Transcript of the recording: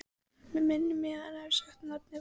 Mig minnir að hann hafi sagt að nafnið væri